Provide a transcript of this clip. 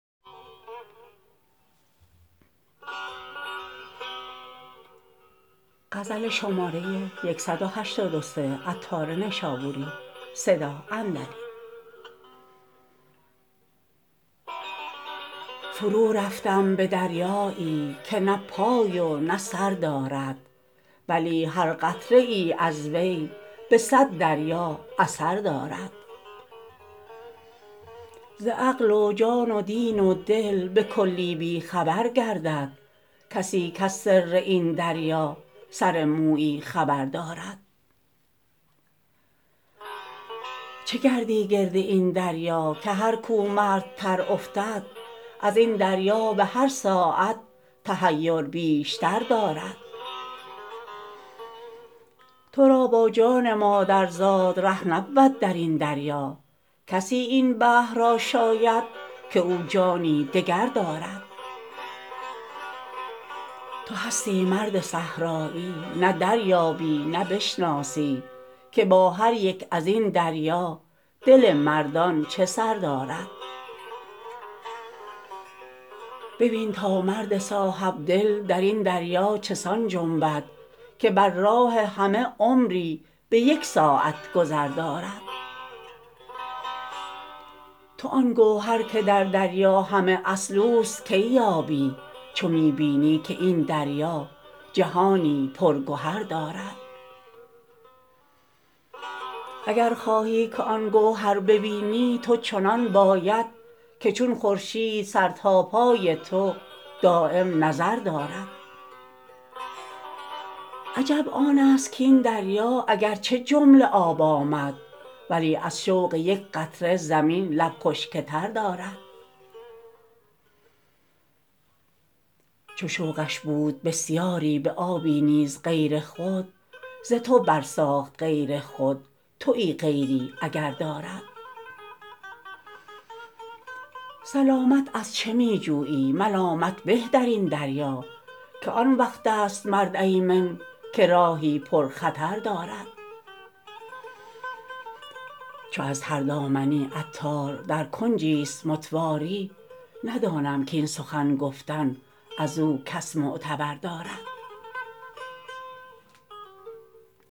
فرو رفتم به دریایی که نه پای و نه سر دارد ولی هر قطره ای از وی به صد دریا اثر دارد ز عقل و جان و دین و دل به کلی بی خبر گردد کسی کز سر این دریا سر مویی خبر دارد چه گردی گرد این دریا که هر کو مردتر افتد ازین دریا به هر ساعت تحیر بیشتر دارد تورا با جان مادرزاد ره نبود درین دریا کسی این بحر را شاید که او جانی دگر دارد تو هستی مرد صحرایی نه دریابی نه بشناسی که با هر یک ازین دریا دل مردان چه سر دارد ببین تا مرد صاحب دل درین دریا چسان جنبد که بر راه همه عمری به یک ساعت گذر دارد تو آن گوهر که در دریا همه اصل اوست کی یابی چو می بینی که این دریا جهانی پر گهر دارد اگر خواهی که آن گوهر ببینی تو چنان باید که چون خورشید سر تا پای تو دایم نظر دارد عجب آن است کین دریا اگرچه جمله آب آمد ولی از شوق یک قطره زمین لب خشک تر دارد چو شوقش بود بسیاری به آبی نیز غیر خود ز تو بر ساخت غیر خود تویی غیری اگر دارد سلامت از چه می جویی ملامت به درین دریا که آن وقت است مرد ایمن که راهی پرخطر دارد چو از تر دامنی عطار در کنجی است متواری ندانم کین سخن گفتن ازو کس معتبر دارد